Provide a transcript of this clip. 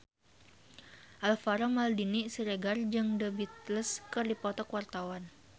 Alvaro Maldini Siregar jeung The Beatles keur dipoto ku wartawan